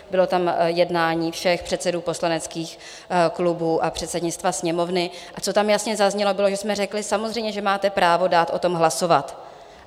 Bylo tam jednání všech předsedů poslaneckých klubů a předsednictva Sněmovny a co tam jasně zaznělo, bylo, že jsme řekli: Samozřejmě že máte právo dát o tom hlasovat.